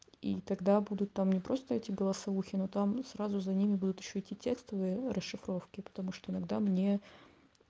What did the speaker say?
и тогда буду там не просто эти голосовухи ну там сразу за ними будут ещё и тестовые расшифровки потому что иногда мне